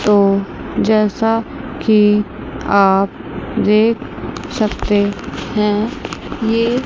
तो जैसा कि आप देख सकते हैं ये--